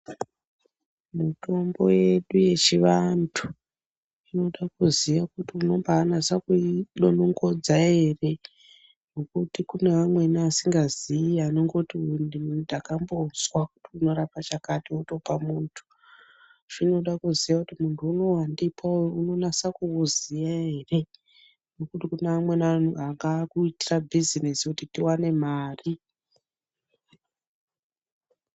Mitombo yedu yechivantu inoda kuziya kuti unombanatsa kuidonongodza ere ngokuti kune vamweni asingaziyi anongoti uyu ndakambozwa kuti unorapa chakati, wotopa muntu. Zvinoda kuziya kuti muntu unowu wandipa uyu unonasa kuuziya here, ngokuti kune amweni akuitira bhizinesi kuti tiwane mari.